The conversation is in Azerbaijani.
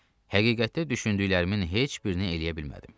Həqiqətdə düşündüklərimin heç birini eləyə bilmədim.